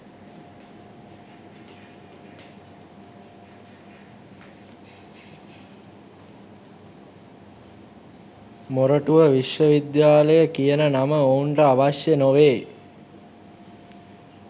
මොරටුව විශ්වවිද්‍යාලය කියන නම ඔවුන්ට අවශ්‍ය නොවේ.